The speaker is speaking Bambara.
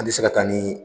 An bɛ se ka taa ni